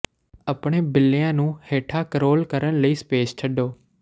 ਆਪਣੇ ਬਿੱਲੀਆਂ ਨੂੰ ਹੇਠਾਂ ਕਰੌਲ ਕਰਨ ਲਈ ਸਪੇਸ ਛੱਡੋ